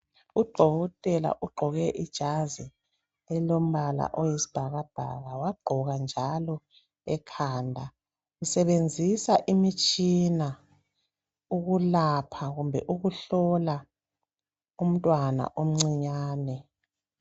Udokotela ugqoke ijazi elombala oyisibhakabhaka wagqoka njalo ekhanda usebenzisa imitshina ukulapha kumbe ukuhlola umntwana omncinyane